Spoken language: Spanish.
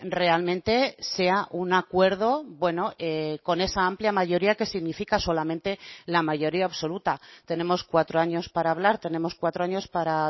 realmente sea un acuerdo bueno con esa amplia mayoría que significa solamente la mayoría absoluta tenemos cuatro años para hablar tenemos cuatro años para